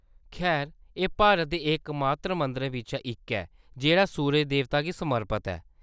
खैर, एह्‌‌ भारत दे एकमात्र मंदिरें बिच्चा इक ऐ जेह्‌‌ड़ा सूरज देवता सूरज गी समर्पित ऐ।